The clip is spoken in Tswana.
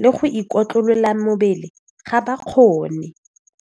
le go ikotlolola mebele ga ba kgone.